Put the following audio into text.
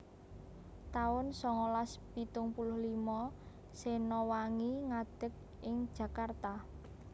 taun songolas pitung puluh limo Sena Wangi ngadeg ing Jakarta